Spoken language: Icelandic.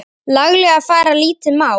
laglega fara lítið má.